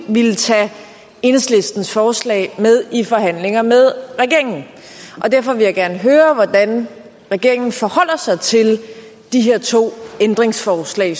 ville tage enhedslistens forslag med i forhandlinger med regeringen derfor vil jeg gerne høre hvordan regeringen forholder sig til de her to ændringsforslag